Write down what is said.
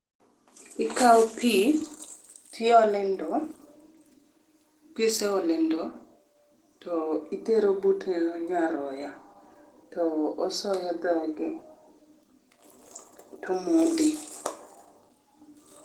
Ikao pii tiole ndoo, kiseole ndoo titero but nyaroya tosoyo dhoge tomodhe